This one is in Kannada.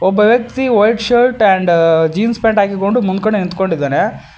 ಒಬ್ಬ ವ್ಯಕ್ತಿ ವೈಟ್ ಶರ್ಟ್ ಹಾಗೂ ಜೀನ್ಸ್ ಪ್ಯಾಂಟ್ ಹಾಕೊಂಡು ಮುಂದುಗಡೆ ನಿಂತ್ಕೊಂಡಿರ್ತಾನೆ.